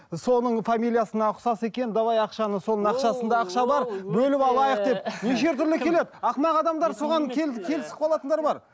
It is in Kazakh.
ы соның фамилиясына ұқсас екен давай ақшаны соның ақшасында ақша бар бөліп алайық деп неше түрлі келеді ақымақ адамдар соған келісіп қалатындар бар